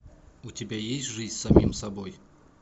у тебя есть жизнь с самим собой